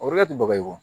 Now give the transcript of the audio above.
O yɔrɔ la ti baga ye wo